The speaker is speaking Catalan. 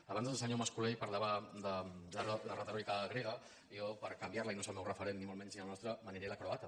abans el senyor mas colell parlava de la retòrica grega i jo per canviar la i no és el meu referent ni molt menys ni el nostre me n’aniré a la croata